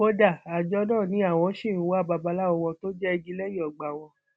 kódà àjọ náà ni àwọn ṣì ń wa babaláwo wọn tó jẹ igi lẹyìn ọgbà wọn